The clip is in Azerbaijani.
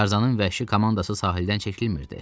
Tarzanın vəhşi komandası sahildən çəkilmirdi.